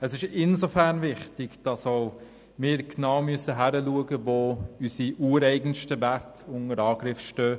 Es ist insofern wichtig, als dass auch wir genau hinsehen müssen, wo unsere ureigenen Werte unter An- griff stehen.